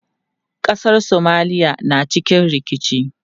Ƙasar Somalia na cikin rikici.